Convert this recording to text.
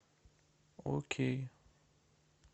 окей